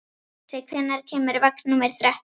Uxi, hvenær kemur vagn númer þrettán?